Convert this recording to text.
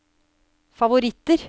favoritter